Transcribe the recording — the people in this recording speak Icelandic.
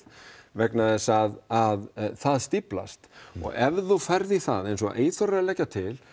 vegna þess að það stíflast og ef þú ferð í það eins og Eyþór leggur til